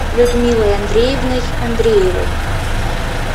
людмилой андреевной андреевой